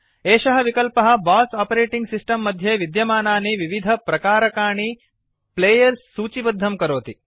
एषः विकल्पः BOSS operating system मध्ये विद्यमानानि विविधप्रकारकाणि प्लेयर्स् सूचिबद्धं करोति